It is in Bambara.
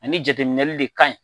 Ani jateminɛli de kaɲi